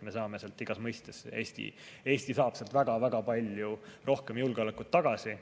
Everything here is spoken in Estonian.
Me saame sealt igas mõistes, Eesti saab sealt väga-väga palju rohkem julgeolekut tagasi